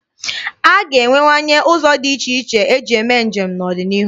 A ga-enwewanye ụzọ dị iche iche eji eme njem n'ọdịnihu.